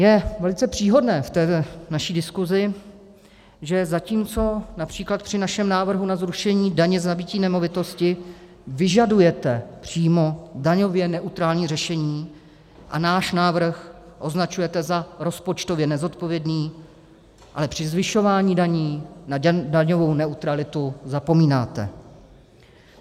Je velice příhodné v té naší diskusi, že zatímco například při našem návrhu na zrušení daně z nabytí nemovitosti vyžadujete přímo daňově neutrální řešení a náš návrh označujete za rozpočtově nezodpovědný, ale při zvyšování daní na daňovou neutralitu zapomínáte.